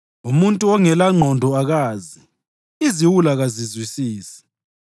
Umuntu ongelangqondo akazi, iziwula kazizwisisi,